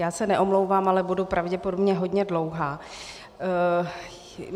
Já se neomlouvám, ale budu pravděpodobně hodně dlouhá.